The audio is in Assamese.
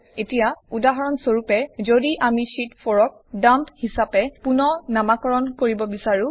এতিয়া উদাহৰণ স্বৰূপে যদি আমি শীত 4 ক ডাম্প হিচাপে ৰিনেম কৰিব বিছাৰোঁ